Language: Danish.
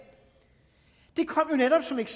netop som et